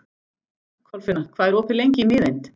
Kolfinna, hvað er opið lengi í Miðeind?